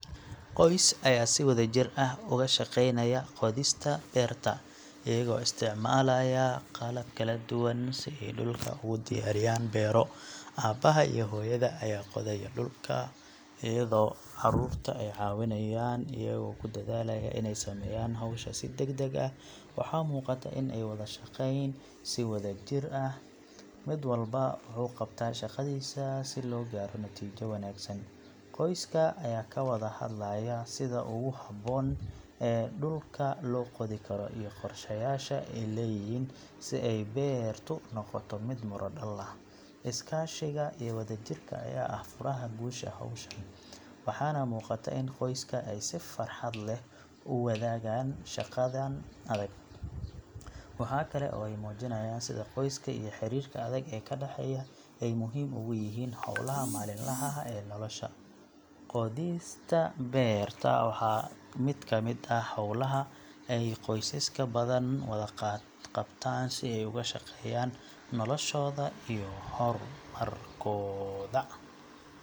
Qoys ayaa si wadajir ah uga shaqeynaya qodista beerta, iyagoo isticmaalaya qalab kala duwan si ay dhulka ugu diyaariyaan beero. Aabaha iyo hooyada ayaa qodaya dhulka iyadoo carruurtu ay caawiyaan iyagoo ku dadaalaya inay sameeyaan hawsha si degdeg ah. Waxaa muuqata in ay wada shaqeynayaan si wadajir ah, mid walba wuxuu qabtaa shaqadiisa, si loo gaaro natiijo wanaagsan. Qoyska ayaa ka wada hadlaya sida ugu habboon ee dhulka loo qodi karo iyo qorsheyaasha ay leeyihiin si ay beertu u noqoto mid miro dhal ah. Iskaashiga iyo wada jirka ayaa ah furaha guusha hawshan, waxaana muuqata in qoyska ay si farxad leh u wadaagaan shaqadan adag. Waxa kale oo ay muujinayaan sida qoyska iyo xiriirka adag ee ka dhaxeeya ay muhiim ugu yihiin hawlaha maalinlaha ah ee nolosha. Qodista beerta waa mid ka mid ah hawlaha ay qoysaska badan wada qabtaan si ay uga shaqeeyaan noloshooda iyo horumarkooda.